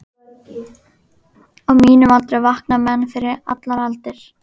Á mínum aldri vakna menn fyrir allar aldir.